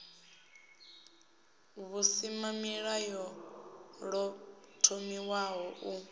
v husimamilayo ḓo thomiwaho u